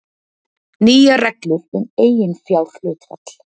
Nýjar reglur um eiginfjárhlutfall